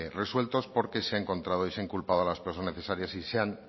resueltos porque se ha encontrado y se ha inculpado a las personas necesarias y se han